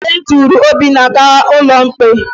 E duru Obinna gaa n'ụlọ ikpe